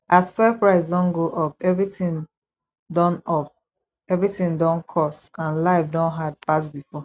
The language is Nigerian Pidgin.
as fuel price don go up everything don up everything don cost and life don hard pass before